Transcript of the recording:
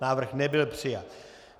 Návrh nebyl přijat.